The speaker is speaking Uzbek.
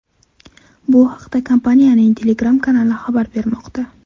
Bu haqda kompaniyaning Telegram kanali xabar bermoqda .